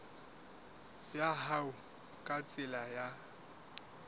ya hao ka tsela ya